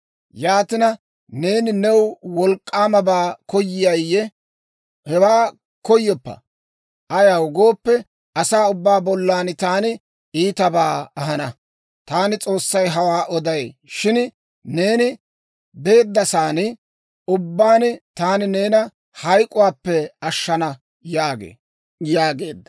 Yaatina, neeni new wolk'k'aamabaa koyayiyye? Hewaa koyoppa. Ayaw gooppe, asaa ubbaa bollan taani iitabaa ahana. Taani S'oossay hawaa oday. Shin neeni beeddasaan ubbaan taani neena hayk'k'uwaappe ashshana› yaagee» yaageedda.